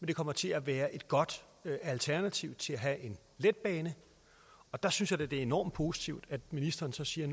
det kommer til at være et godt alternativ til at have en letbane der synes jeg da det er enormt positivt at ministeren så siger